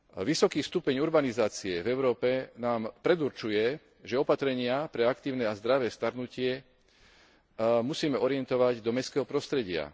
Vysoký stupeň urbanizácie v Európe nám predurčuje, že opatrenia pre aktívne a zdravé starnutie musíme orientovať do mestského prostredia.